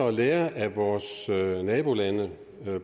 og lære af vores nabolande